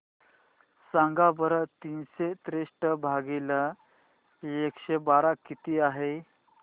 सांगा बरं तीनशे त्रेसष्ट भागीला एकशे बारा किती आहे